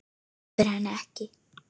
Sleppir henni ekki.